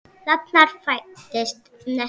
Þarna fæddist neisti.